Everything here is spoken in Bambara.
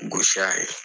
Gosi a ye